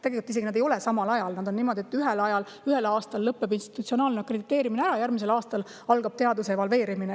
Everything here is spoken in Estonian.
Tegelikult need ei ole isegi samal ajal, on niimoodi, et ühel aastal lõpeb institutsionaalne akrediteerimine ära ja järgmisel aastal algab teaduse evalveerimine.